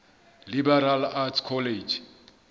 liberal arts college